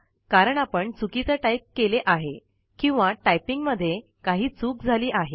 कारण आपण चुकीच टाईप केले आहे किंवा टाइपिंग मध्ये काही चूक झाली आहे